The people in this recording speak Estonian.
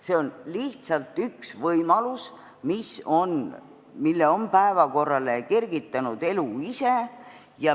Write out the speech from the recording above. See on lihtsalt üks võimalus, mille on päevakorrale kergitanud elu ise.